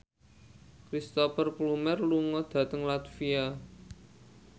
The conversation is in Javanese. Cristhoper Plumer lunga dhateng latvia